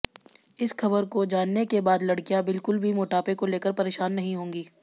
इस खबर को जानने के बाद लड़कियां बिल्कुल भी मोटापे को लेकर परेशान नहीं होंगी